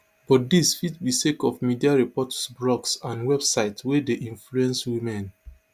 but dis fit be sake of media reports blogs and websites wey dey influence women